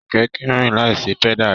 Kẹkẹ kìí rìn láì sí pẹ̀da rẹ.